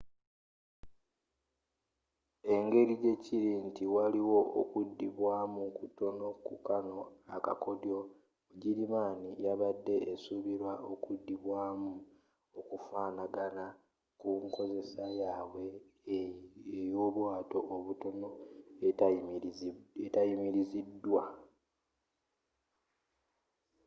engeri jjekiri nti waliwo okuddibwamu kutono ku kano akakoddyo bugirimaani yabade esuubira okuddibwamu okufaanagana ku nkozesa yabwe eyobwato obutono etayimiriziddwa